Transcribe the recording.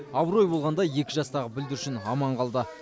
абырой болғанда екі жастағы бүлдіршін аман қалды